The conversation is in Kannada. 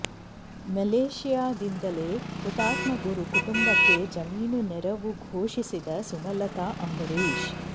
ಮಲೇಷ್ಯಾದಿಂದಲೇ ಹುತಾತ್ಮ ಗುರು ಕುಟುಂಬಕ್ಕೆ ಜಮೀನು ನೆರವು ಘೋಷಿಸಿದ ಸುಮಲತಾ ಅಂಬರೀಶ್